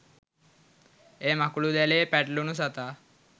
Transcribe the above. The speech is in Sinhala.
එය මකුළුදැලේ පැටලුණු සතා